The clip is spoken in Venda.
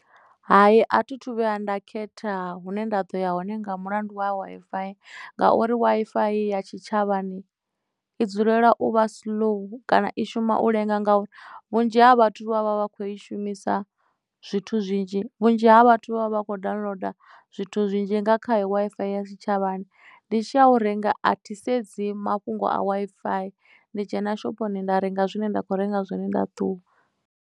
Hai a thi thu vhuya nda khetha hune nda ḓo ya hone nga mulandu wa Wi-Fi ngauri Wi-Fi ya tshitshavhani i dzulela u vha siḽou kana i shuma u lenga ngauri vhunzhi ha vhathu vha vha vha kho i shumisa zwithu zwinzhi vhunzhi ha vhathu vha vha vha kho downloader zwithu zwinzhi nga khayo Wi-Fi ya tshitshavhani ndi tshi a u renga a thi sedzi mafhungo a Wi-Fi ndi dzhena shophoni nda renga zwine nda kho renga zwone nda ṱuwa.